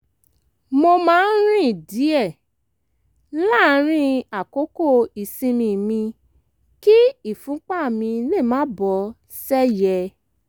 mo máa ń rìn díẹ̀ láàárín àkókò ìsinmi mi kí ìfúnpá mi lè máa lọ bó ṣe yẹ